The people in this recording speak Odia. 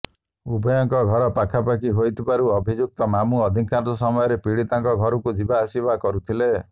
ଉଭୟଙ୍କ ଘର ପାଖାପାଖି ହୋଇଥିବାରୁ ଅଭିଯୁକ୍ତ ମାମୁଁ ଅଧିକାଂଶ ସମୟରେ ପୀଡ଼ିତାଙ୍କ ଘରକୁ ଯିବା ଆସିବା କରୁଥିଲେ